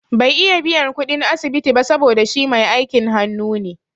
Bai iya biyan kuɗin asibiti ba saboda shi mai aikin hanu ne